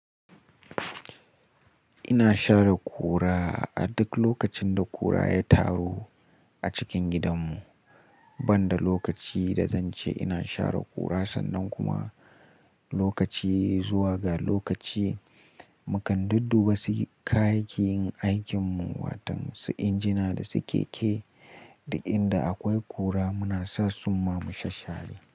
Ina share kura a duk lokacin da kura ya taru a cikin gidanmu. Ban da lokaci da zan ce ina share kura sannan kuma lokaci zuwa ga lokaci, muka dudduba basu kayi yin aikinmu watan su injina da su keke da inda akwai kura muna sa suma mu sassare.